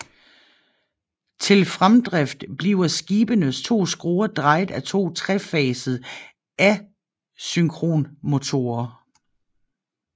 Til fremdrift bliver skibenes to skruer drejet af to trefasede asynkronmotorer